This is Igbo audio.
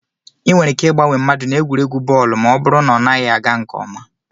Ị nwere ike ịgbanwe mmadụ na egwuregwu bọọlụ ma ọ bụrụ na ọ naghị aga nke ọma